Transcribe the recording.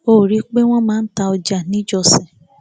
o rí i pé wọn máa ń ta ọjà níjọsìn